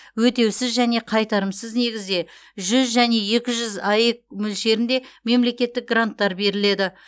өтеусіз және қайтарымсыз негізде жүз және екі жүз аек мөлшерінде мемлекеттік гранттар беріледі